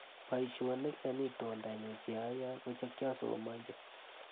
Boishonik eng itondanyu cheayae kochekiasomanji.